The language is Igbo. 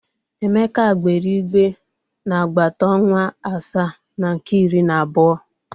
Emeka gbere igbe n'agbata ọnwa asaa na nke iri na abuo.